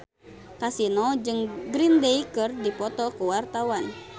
Kasino jeung Green Day keur dipoto ku wartawan